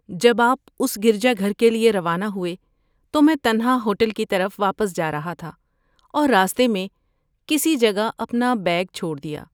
جب آپ اس گرجا گھر کے لیے روانہ ہوئے تو میں تنہا ہوٹل کی طرف واپس جا رہا تھا اور راستے میں کسی جگہ اپنا بیگ چھوڑ دیا۔